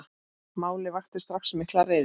Málið vakti strax mikla reiði.